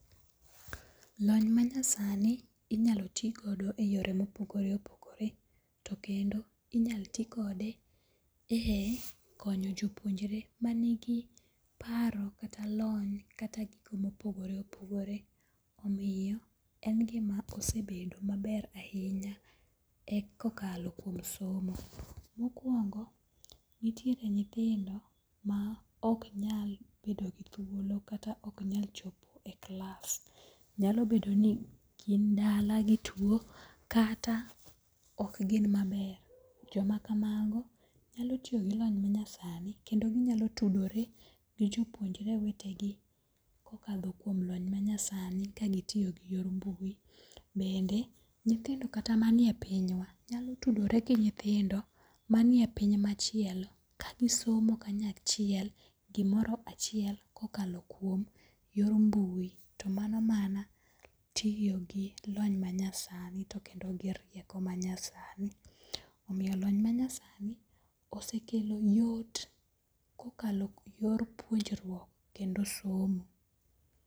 Lony manyasani inyalo ti kodo e yore mopogore opogore, to kendo inyalo ti kode e konyo jopuonjore manigi paro kata lony kata gino ma opogore opogore, omiyo en gima osebedo maber ahinya kokalo kuom somo. mokuongo' nitiere nythindo ma ok nyal bedo gi thuolo kata ok nyal chopo e clalss, nyalo bedo ni gin dala gituo kata ok gin maber, jomakamago nyalo tiyo gi lony manyasani kendo ginyalo tudore gi jopuonjre wetegi kokatho kuom lony manyasani kagitiyo gi yor mbui, bende nyithindo kata manie pinywa nyalo tudore gi nyithindo manie piny machielo kagisomo kanya chiel gimoro achiel kokalo kuom yor mbui to manomana tiyo gi lony manyasani to kendo gi rieko manyasani, omiyo lony manyasani osekelo yot kokalo yor puonjruok kendo somo.